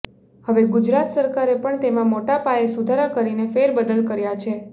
હવે ગુજરાત સરકારે પણ તેમાં મોટાપાયે સુધારા કરીને ફેરબદલ કર્યા છે